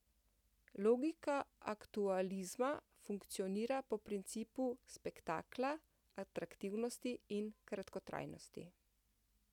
Logika aktualizma funkcionira po principu spektakla, atraktivnosti in kratkotrajnosti.